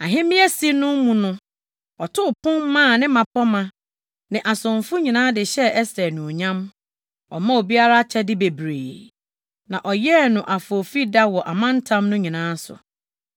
Ahemmeasi no mu no, ɔtoo pon maa ne mmapɔmma ne asomfo nyinaa de hyɛɛ Ɛster anuonyam. Ɔmaa obiara akyɛde bebree, na ɔyɛɛ no afoofida wɔ amantam no nyinaa so.